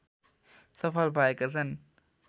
सफल भएका छन्